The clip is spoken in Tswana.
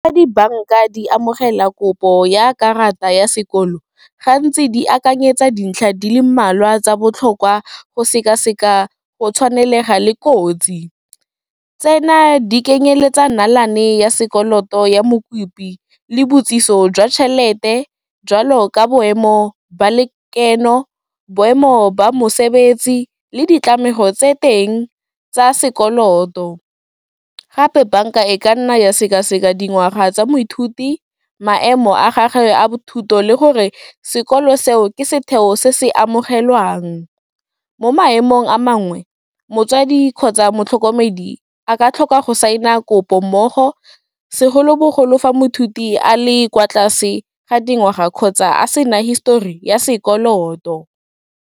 Ga dibanka di amogela kopo ya karata ya sekolo, gantsi di akanyetsa dintlha di le mmalwa tsa botlhokwa go sekaseka go tshwanelega le kotsi. Tsena di kenyeletsa nalane ya sekoloto ya mokopi le botsiso jwa tšhelete jwalo ka boemo ba lekeno, boemo ba mosebetsi le ditlamego tse teng tsa sekoloto, gape banka e ka nna ya sekaseka dingwaga tsa moithuti, maemo a gage a thuto le gore sekolo seo ke setheo se se amogelwang. Mo maemong a mangwe, motswadi kgotsa motlhokomedi a ka tlhoka go saena kopo mmogo, segolobogolo fa moithuti a le kwa tlase ga dingwaga kgotsa a sena histori ya sekoloto.